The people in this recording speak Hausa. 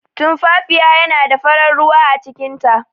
Tumfafiya yana da farar ruwa acikin ta.